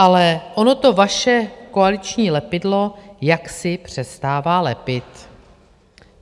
Ale ono to vaše koaliční lepidlo jaksi přestává lepit.